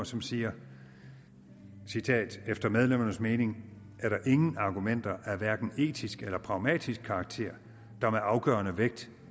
som siger efter medlemmernes mening er der ingen argumenter af hverken etisk eller pragmatisk karakter der med afgørende vægt